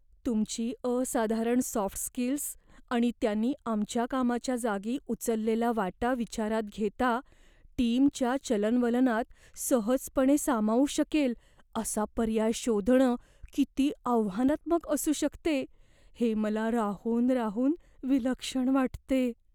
तुमची असाधारण soft skills आणि त्यांनी आमच्या कामाच्या जागी उचललेला वाटा विचारात घेता, टीमच्या चलनवलनात सहजपणे सामावू शकेल असा पर्याय शोधणं किती आव्हानात्मक असू शकते हे मला राहून राहून विलक्षण वाटते.